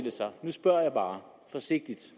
sig nu spørger jeg bare forsigtigt